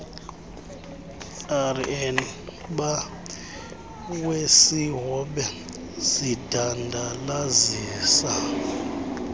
rnba wesihobe zidandalazisa